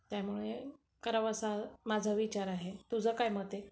त्यामुळे तिथं करावं असा माझा विचार आहे, तुझं काय मत आहे?